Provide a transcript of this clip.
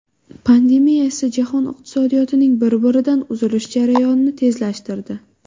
Pandemiya esa jahon iqtisodiyotining bir-biridan uzilish jarayonini tezlashtirdi.